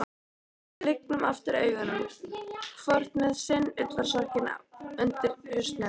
Lygnum aftur augunum, hvort með sinn ullarsokkinn undir hausnum.